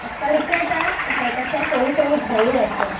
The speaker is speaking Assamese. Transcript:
অট্টালিকা এটাৰ কাষে কাষে সৰু সৰু ঘৰো আছে।